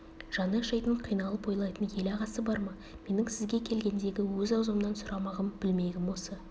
жаны ашитын қиналып ойлайтын ел ағасы бар ма менің сізге келгендегі өз аузымнан сұрамағым білмегім осы